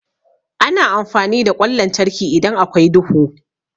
Ana amfani da ƙwan lantarki idan akwai duhu.